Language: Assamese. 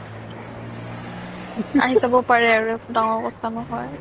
আহি পাব পাৰে আৰু একো দাঙৰ কথা নহয়